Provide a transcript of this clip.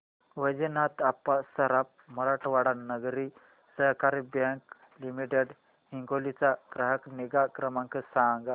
वैजनाथ अप्पा सराफ मराठवाडा नागरी सहकारी bank limited Hingoli चा ग्राहक निगा क्रमांक सांगा